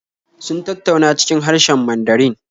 Sun tattauna cikin harshen Mandarin